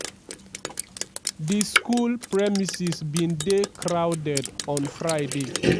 di school premises bin dey crowded on friday.